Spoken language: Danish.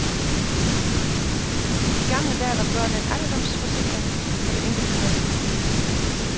I gamle dage var børn en alderdomsforsikring for det enkelte forældrepar.